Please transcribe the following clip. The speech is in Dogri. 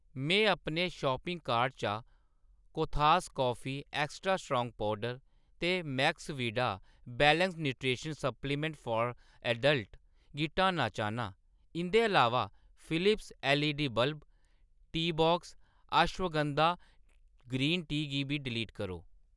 मैं अपने शापिंग कार्ट चा कोदिस कॉफी एक्स्ट्रा स्ट्रांग पौडर ते Maxvida whey wellness nutrition supplement for adult गी हटाना चाह्‌न्नां। इंʼदे अलावा Philips LED bulb, tea box ashwagandha green tea गी बी डिलीट करो।